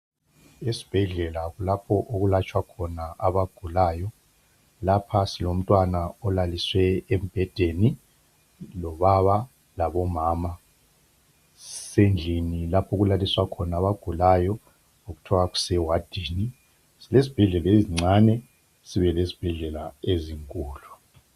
Esibhedlela kulapho okwelatshwa khona abagulayo. Lapha silomntwana olaliswe embhedeni, ubaba labomama kusendlini okulaliswa khona abagulayo okuthiwa kusewadini. Silezibhedlela ezincane kube lezibhedlela ezinkulu.